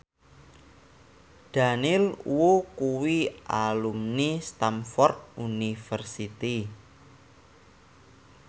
Daniel Wu kuwi alumni Stamford University